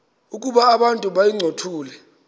ukuba abantu bayincothule